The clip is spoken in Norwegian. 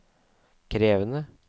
krevende